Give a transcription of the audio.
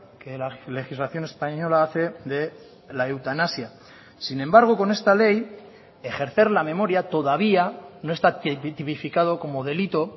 que la legislación española hace de la eutanasia sin embargo con esta ley ejercer la memoria todavía no está tipificado como delito